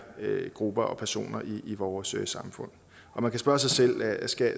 grupper og personer i vores samfund og man kan spørge sig selv